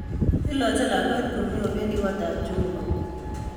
Kalachke lakwet komie, obedi kotab jeobo.